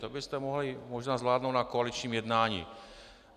To byste mohli možná zvládnout na koaličním jednání.